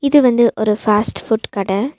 இது வந்து ஒரு ஃபாஸ்ட் ஃபுட் கட.